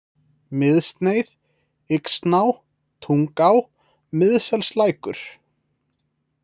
Miðsneið, Yxná, Tungá, Miðselslækur